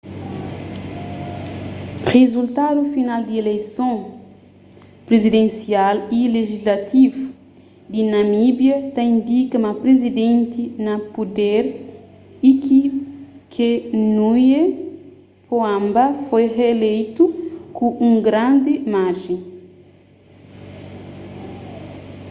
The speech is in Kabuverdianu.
rizultadu final di ileison prizidensial y lijislativu di namíbia ta indika ma prizidenti na puder hifikepunye pohamba foi rieleitu ku un grandi marjen